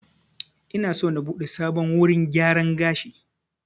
Ina so na buɗe sabon wurin gyaran gashi